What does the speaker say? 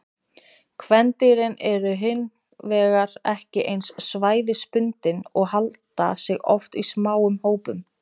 Kvendýrin eru hin vegar ekki eins svæðisbundin og halda sig oft í smáum hópum.